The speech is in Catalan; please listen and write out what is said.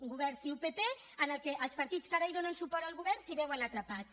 un govern ciu pp en què els partits que ara donen suport al govern s’hi veuen atrapats